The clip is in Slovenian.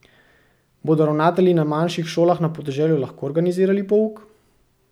Bodo ravnatelji na manjših šolah na podeželju lahko organizirali pouk?